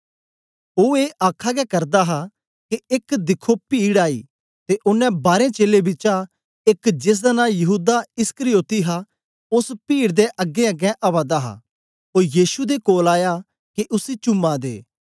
ओ ऐ आखा गै करदा हा के एक दिखो पीड आई ते ओनें बारें चेलें बिचा एक जेसदा नां यहूदा इस्करियोती हा ओस पीड दे अगेंअगें आवा दा हा ओ यीशु दे कोल आया के उसी चूमा दे